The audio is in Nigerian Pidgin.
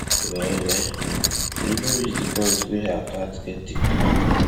well well e even reach di point wey her cat get tiktok account